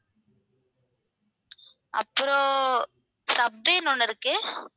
அப்புறம் ஒண்ணு இருக்கு.